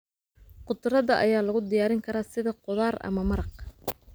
Khudradda ayaa lagu diyaarin karaa sida khudaar ama maraq.